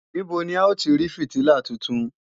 Níbo ni à ó ti rí fìtílà tuntun